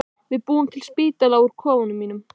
Við búum til spítala úr kofanum mínum.